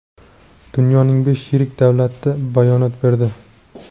Dunyoning besh yirik davlati bayonot berdi.